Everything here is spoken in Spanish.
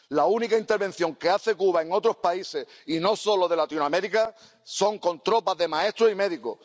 La única intervención que hace Cuba en otros países, y no solo de Latinoamérica, es con tropas de maestros y médicos.